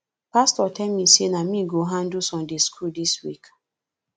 pastor tell me say na me go handle sunday school dis week